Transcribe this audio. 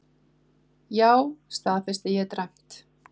Já, staðfesti ég dræmt.